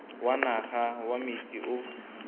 wa naga wa metsi o